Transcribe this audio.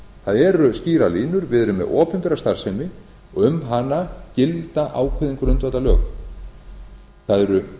það eru skýrar línur við erum með opinbera starfsemi og um hana gilda ákveðin grundvallarlög það eru